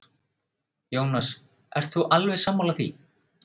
Jónas: Ert þú alveg sammála því?